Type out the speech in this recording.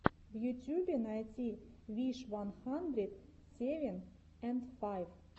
в ютьюбе найти виш ван хандрит севен энд файв